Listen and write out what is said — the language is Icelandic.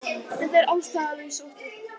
Þetta er ástæðulaus ótti